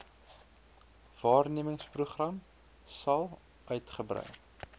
waarnemersprogram sal uitgebrei